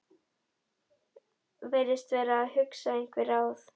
Virðist vera að hugsa einhver ráð.